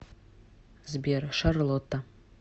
сбер шарлотта